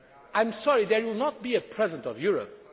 I am sorry there will not be a President of Europe'.